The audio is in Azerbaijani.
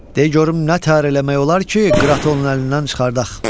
De görüm nə təhər eləmək olar ki, Qıratı onun əlindən çıxardaq?